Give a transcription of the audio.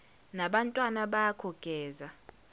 nabantwana bakho geza